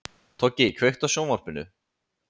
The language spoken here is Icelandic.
Toggi, kveiktu á sjónvarpinu.